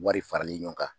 Wari farali ɲɔgɔn kan